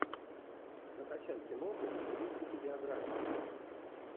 закачай киноху в стилистике биографии